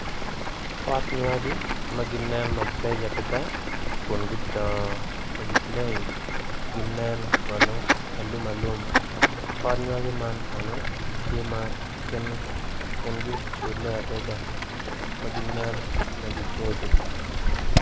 Pot nywagi maginen ma beco adada kun kudongo magi leng ginen kono alum alum pot nyogi ma kono tye ma kingi ocule adada magi nen magi boco.